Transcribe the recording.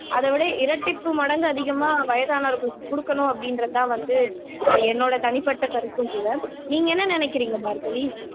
அதை விட இரட்டிப்பு மடங்கு அதிகமா வயதானவர்களுக்கு கொடுக்கணும் அப்படின்றதுதான் வந்து என்னோட தனிப்பட்ட கருத்தும் கூட நீங்க என்ன நினைக்கிறீங்க பார்கவி